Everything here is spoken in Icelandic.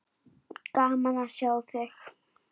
Gaman að sjá þig!